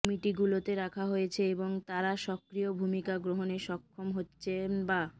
কমিটিগুলোতে রাখা হয়েছে এবং তারা সক্রিয় ভূমিকা গ্রহণে সক্ষম হচ্ছেন বা